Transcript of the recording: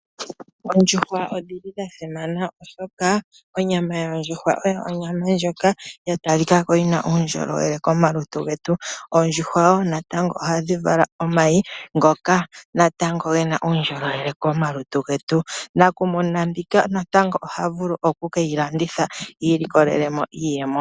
Oondjuhwa odhili dha simana oshoka onyama yondjuhwa oyo onyama ndjoka yatalikako yina uundjolowele komaluntu getu , oondjuhwa natango oha dhikala omayi ngoka natango ngena uundjolowele komaluntu getu, nakumuna mbika natango oha vulu oku keyilanditha ilikolele mo iiyemo.